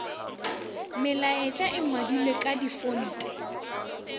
melaetša e ngwadilwe ka difonte